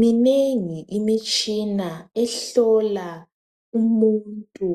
Minengi imishina ehlola umuntu